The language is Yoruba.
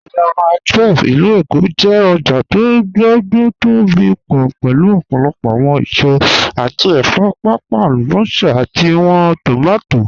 Ojá Mílè 12 (ilù Èkó) jẹ́ ọ̀jà tó gbogbo tó bí pọ̀ pẹ̀lú ọ̀pọ̀lọ̀pọ̀ awọn èsò àti ẹ̀fọ̀, páàpàá alúbọ́sà àti awọn tómátí